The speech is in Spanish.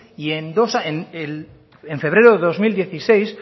y en dos años en febrero de dos mil dieciséis